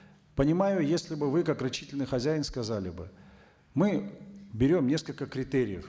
понимаю если бы вы как рачительный хозяин сказали бы мы берем несколько критериев